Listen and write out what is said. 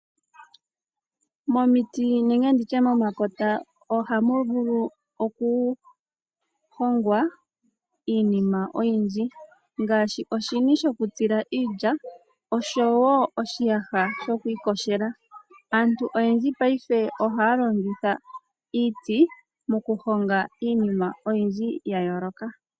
Momiti nenge nditye momakota ohamu vulu okuhongwa iinima oyindji ngaashi oshini shokutsila iilya oshowo oshiyaha shoku iyogela. aantu oyendji paife ohaya longitha iiti mokuhonga iinima oyindji ya yooloka.